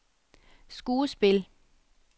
skuespil